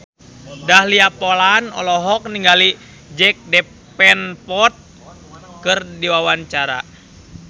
Dahlia Poland olohok ningali Jack Davenport keur diwawancara